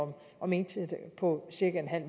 om indtægter på cirka